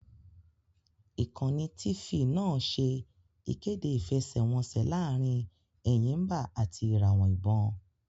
Ìkànnì Tifì náà ṣẹ́ ìkéde ìfẹsẹ́wọnseẹ̀ laarin Ẹ̀yìmbà àti ìràwọ̀ ìbon